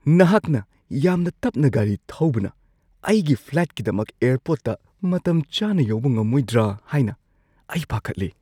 ꯅꯍꯥꯛꯅ ꯌꯥꯝꯅ ꯇꯞꯅ ꯒꯥꯔꯤ ꯊꯧꯕꯅ ꯑꯩꯒꯤ ꯐ꯭ꯂꯥꯏꯠꯀꯤꯗꯃꯛ ꯑꯦꯔꯄꯣꯔꯠꯇ ꯃꯇꯝ ꯆꯥꯅ ꯌꯧꯕ ꯉꯝꯃꯣꯏꯗ꯭ꯔꯥ ꯍꯥꯏꯅ ꯑꯩ ꯄꯥꯈꯠꯂꯤ꯫